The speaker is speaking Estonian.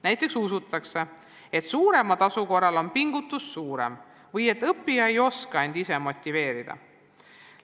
Näiteks usutakse, et suurema tasu korral on pingutus suurem või et õppija ei oska end ise motiveerida.